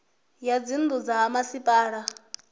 ya dzinnu dza ha masipala